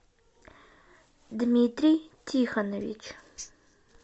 дмитрий тихонович